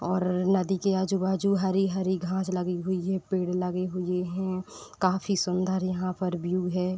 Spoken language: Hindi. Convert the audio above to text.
और नदी के आजू-बाजू हरी-हरी घांस लगी हुई है पेड़ लगे हुए हैं। काफ़ी सुन्दर यहाँ पर व्यू है।